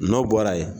N'o bɔra ye